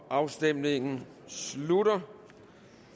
afstemningen slutter